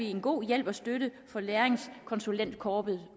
en god hjælp og støtte for læringskonsulentkorpset